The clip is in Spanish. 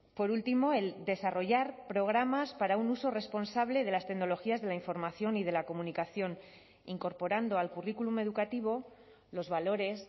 por último el desarrollar programas para un uso responsable de las tecnologías de la información y de la comunicación incorporando al currículum educativo los valores